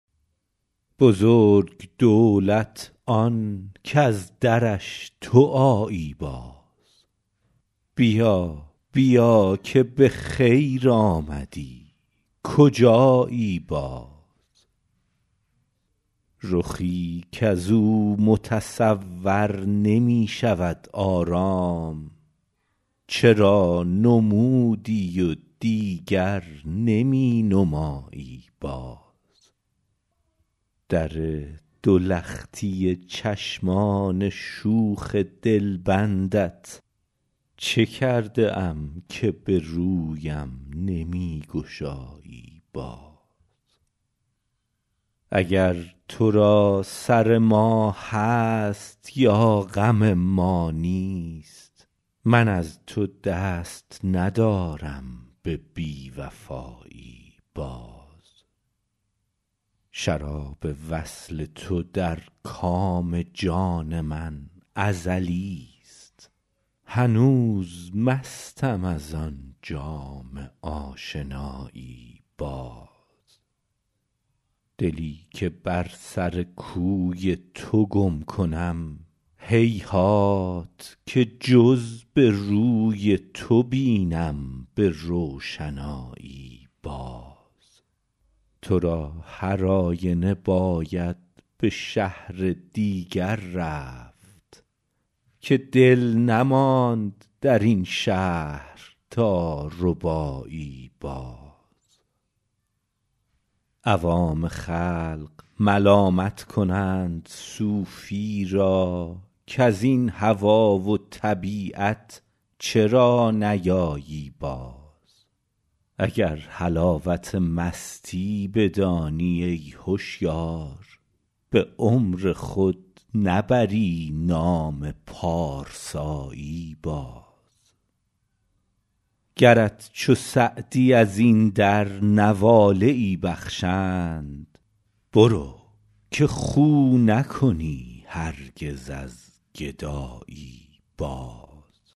بزرگ دولت آن کز درش تو آیی باز بیا بیا که به خیر آمدی کجایی باز رخی کز او متصور نمی شود آرام چرا نمودی و دیگر نمی نمایی باز در دو لختی چشمان شوخ دلبندت چه کرده ام که به رویم نمی گشایی باز اگر تو را سر ما هست یا غم ما نیست من از تو دست ندارم به بی وفایی باز شراب وصل تو در کام جان من ازلیست هنوز مستم از آن جام آشنایی باز دلی که بر سر کوی تو گم کنم هیهات که جز به روی تو بینم به روشنایی باز تو را هر آینه باید به شهر دیگر رفت که دل نماند در این شهر تا ربایی باز عوام خلق ملامت کنند صوفی را کز این هوا و طبیعت چرا نیایی باز اگر حلاوت مستی بدانی ای هشیار به عمر خود نبری نام پارسایی باز گرت چو سعدی از این در نواله ای بخشند برو که خو نکنی هرگز از گدایی باز